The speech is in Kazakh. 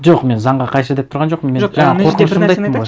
жоқ мен заңға қайшы деп тұрған жоқпын мен жаңағы қорқынышымды айттым ғой